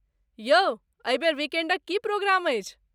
यौ! एहि बेर वीकेण्डक की प्रोग्राम अछि?